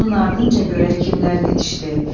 Onun ardınca görək kimlər yetişdi.